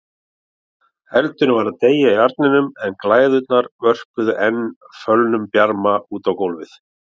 Eldurinn var að deyja í arninum en glæðurnar vörpuðu enn fölum bjarma út á gólfið.